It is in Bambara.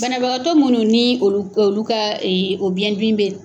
Banabagatɔ minnu ni olu olu ka o biyɛn dimi bɛ